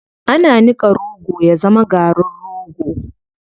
Ana niƙa rogo ya zama garin rogo.